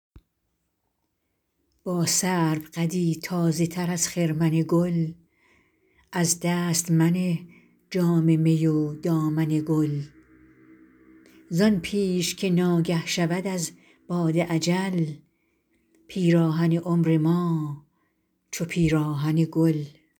با سرو قدی تازه تر از خرمن گل از دست منه جام می و دامن گل زان پیش که ناگه شود از باد اجل پیراهن عمر ما چو پیراهن گل